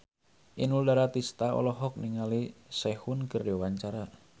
Inul Daratista olohok ningali Sehun keur diwawancara